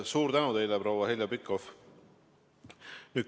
Suur tänu teile, proua Heljo Pikhof!